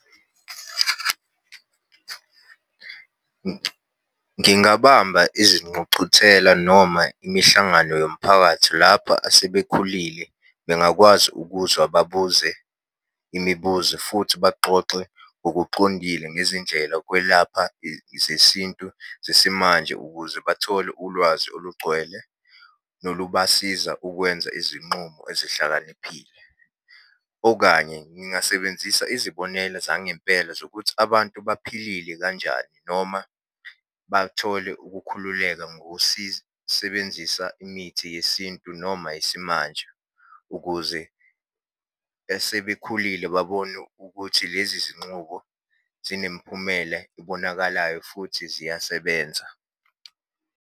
Ngingabamba izinqucuthela noma imihlangano yomphakathi lapha asebekhulile bengakwazi ukuzwa babuze imibuzo, futhi baxoxe ngokuxondile ngezindlela ukwelapha zesintu zesimanje ukuze bathole ulwazi olugcwele, nolubasiza ukwenza izinxumo ezihlakaniphile. Okanye ngingasebenzisa izibonela zangempela zokuthi abantu baphilile kanjani noma bathole ukukhululeka ngokusisebenzisa imithi yesintu noma yesimanje, ukuze esebekhulile babone ukuthi lezi zinxubo zinemiphumela ebonakalayo futhi ziyasebenza.